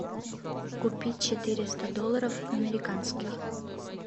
купить четыреста долларов американских